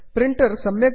print इत्यत्र नुदन्तु